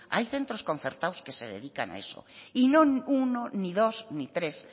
hay centros concertados que se dedican a eso y no ni uno ni dos ni tres